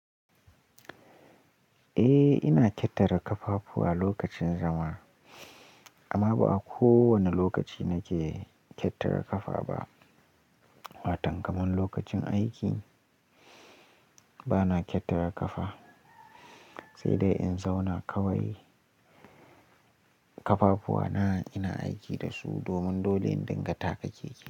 Eh, ina kyattara ƙafafuwa lokacin zama amma ba kowane lokaci nake kyattara ƙafa ba. Watan kamar lokacin aiki bana kyattara ƙafa, sai dai in zauna kawai ƙafafuwa na ina aiki da su domin dole in dinga taka keke.